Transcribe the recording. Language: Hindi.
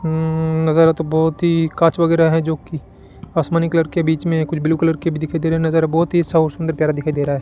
उम्म नजारा तो बहुत ही कांच वगैरह है जो कि आसमानी कलर के बीच में कुछ ब्लू कलर के भी दिखाई दे रहे नजारा बहुत ही सा सुंदर प्यारा दिखाई दे रहा है।